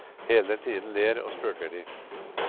Hele tiden ler og spøker de.